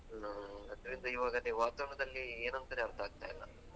ಹಾ ಅದ್ರಿಂದ ಇವಾಗ ಅದೇ ವಾತಾವರಣದಲ್ಲಿ ಏನಂತಾನೆ ಅರ್ಥಾಗ್ತಿಲ್ಲ